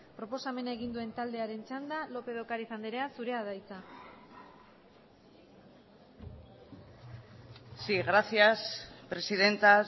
proposamena egin duen taldearen txanda lópez de ocariz andrea zurea da hitza sí gracias presidenta